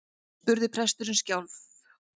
spurði presturinn skjálf